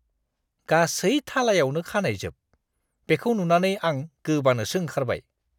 गासै थालायावनो खानाइजोब। बेखौ नुनानै आं गोबानोसो ओंखारबाय।